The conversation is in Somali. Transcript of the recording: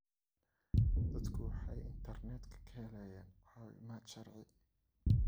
Dadku waxay internetka ka helayaan caawimaad sharci.